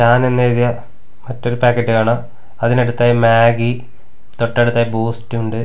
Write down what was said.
എന്ന് എഴുതിയ മറ്റൊരു പാക്കറ്റ് കാണാം അതിനടുത്തായി മാഗി തൊട്ടടുത്തായി ബൂസ്റ്റുണ്ട് .